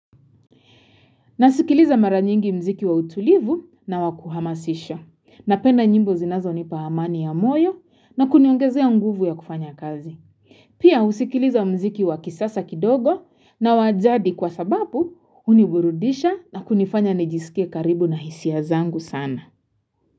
Na sikiliza maranyingi mziki wa utulivu na wakuhamasisha na penda nyimbo zinazo nipa amani ya moyo na kuniongezea nguvu ya kufanya kazi. Pia usikiliza mziki wakisasa kidogo na wajadi kwa sababu huniburudisha na kunifanya nijiskie karibu na hisia zangu sana.